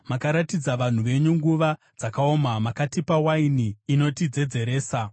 Makaratidza vanhu venyu nguva dzakaoma; makatipa waini inotidzedzeresa.